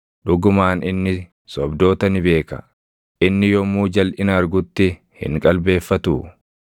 Dhugumaan inni sobdoota ni beeka; inni yommuu jalʼina argutti hin qalbeeffatuu?